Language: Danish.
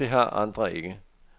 Men det har andre ikke.